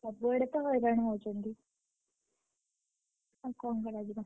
ସବୁଆଡେତ ହଇରାଣ ହଉଛନ୍ତି। ଆଉ କଣ କରାଯିବ?